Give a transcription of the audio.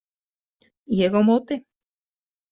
Ég á móti.